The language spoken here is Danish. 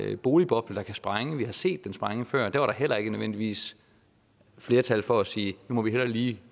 en boligboble der kan sprænge vi har set dem sprænge før og der var der heller ikke nødvendigvis flertal for at sige nu må vi hellere lige